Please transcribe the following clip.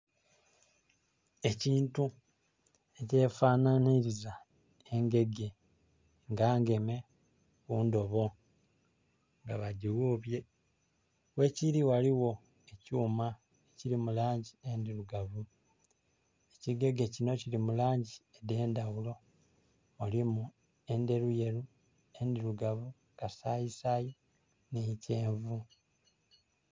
Ekintu ekyefanhaniliza engege nga ngeme mu ndobo nga bagighubye. Ghekiri ghaliwo ekyuma ekiri mu langi endirugavu. Ekigege kino kili mu langi dhe ndhaghulo. Mulimu endheruyeru, endirugavu, kasayisayi nhi kyenvu.